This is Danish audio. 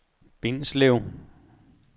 Bindslev